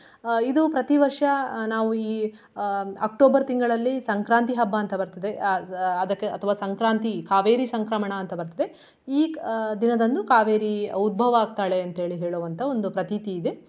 ಅಹ್ ಇದು ಪ್ರತಿವರ್ಷ ನಾವು ಈ ಅಹ್ October ತಿಂಗಳಲ್ಲಿ ಸಂಕ್ರಾಂತಿ ಹಬ್ಬ ಅಂತ ಬರ್ತದೆ ಅಹ್ ಅದಕ್ಕೆ ಅಹ್ ಅಥವಾ ಸಂಕ್ರಾಂತಿ ಕಾವೇರಿ ಸಂಕ್ರಮಣ ಅಂತಾ ಬರ್ತದೆ. ಈ ಅಹ್ ದಿನದಂದು ಕಾವೇರಿ ಉದ್ಭವ ಆಗ್ತಾಳೆ ಅಂತ ಹೇಳಿ ಹೇಳುವಂತ ಒಂದು ಪ್ರತೀತಿ ಇದೆ.